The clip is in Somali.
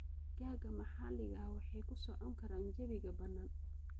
Digaagga maxalliga ah waxay ku socon karaan jawiga bannaan.